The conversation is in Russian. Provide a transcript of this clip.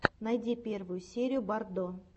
найти первую серию боррдо